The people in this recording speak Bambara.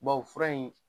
Bawo fura in